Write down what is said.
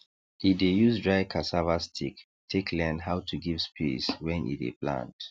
e dey use dry cassava stick take learn how to give space when e dey plant